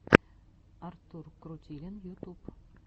артур крутилин ютуб